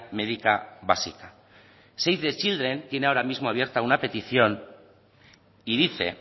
médica básica save the children tiene ahora mismo abierta una petición y dice